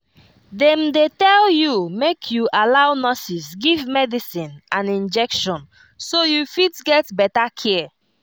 dem dey tell you make you allow nurses give medicine and injection so you fit get better care